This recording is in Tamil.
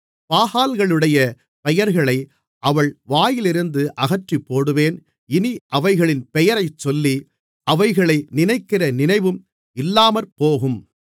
பாகால்களுடைய பெயர்களை அவள் வாயிலிருந்து அகற்றிப்போடுவேன் இனி அவைகளின் பெயரைச் சொல்லி அவைகளை நினைக்கிற நினைவும் இல்லாமற்போகும்